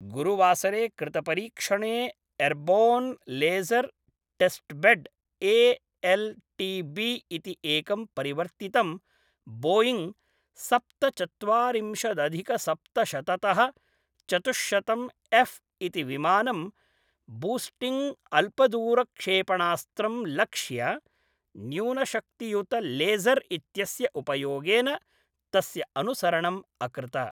गुरुवासरे कृतपरीक्षणे airborne laser testbed A L T B इति एकं परिवर्तितं बोयिङ्ग् सप्तचत्वारिंशदधिकसप्तशततः चतुश्शतम् एऴ् इति विमानं बूस्टिङ्ग्अल्पदूरक्षेपणास्त्रं लक्ष्य न्यूनशक्तियुतलेज़र् इत्यस्य उपयोगेन तस्य अनुसरणम् अकृत।